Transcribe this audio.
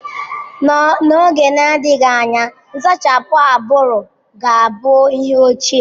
N'oge na-adịghị anya, nsachapụ agbụrụ ga-abụ ihe ochie.